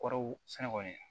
Kɔrɔw sɛnɛ kɔni